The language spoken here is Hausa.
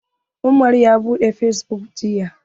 Umar ya buɗe fesbuk jiya.